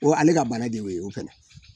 O ale ka bana de y'o